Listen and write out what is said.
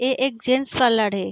ए एक gents parlour है।